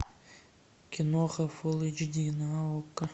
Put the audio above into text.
киноха фулл эйч ди на окко